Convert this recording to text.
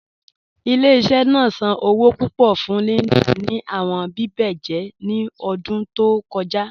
Ile-iṣẹ naa san owo pupọ fun Linda ni awọn bíbẹ̀jẹ̀ ni ọdun tó kọja.